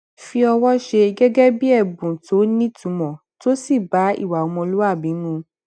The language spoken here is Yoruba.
fi ọwọ ṣe gégé bí èbùn tó nítumò tó sì bá ìwà ọmọlúwàbí mu